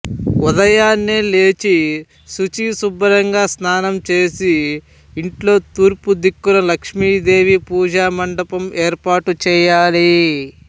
ఉదయాన్నే లేచి శుచి శుభ్రంగా స్నానం చేసి ఇంట్లో తూర్పుదిక్కున లక్ష్మీదేవి పూజా మంటపం ఏర్పాటు చేయాలి